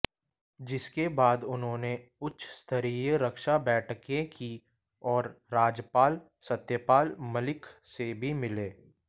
जिसके बाद उन्होंने उच्च स्तरीय रक्षा बैठकें की और राज्यपाल सत्यपाल मलिक से भी मिले